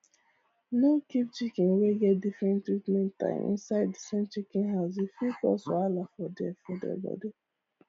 no keep chicken wey get different treatment time inside the same chicken house e fit cause wahala for their for their body